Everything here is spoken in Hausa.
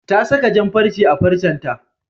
Ta saka jan-farce a farcenta.